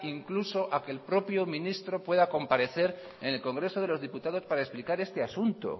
incluso a que el propio ministro pueda comparecer en el congreso de los diputados para explicar este asunto